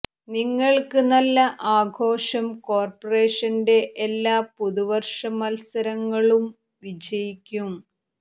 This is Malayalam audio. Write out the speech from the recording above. നിങ്ങൾക്ക് നല്ല ആഘോഷം കോർപറേഷന്റെ എല്ലാ പുതുവർഷ മത്സരങ്ങളും വിജയിക്കും